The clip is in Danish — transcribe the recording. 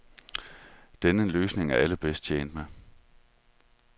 Denne løsning er alle bedst tjent med.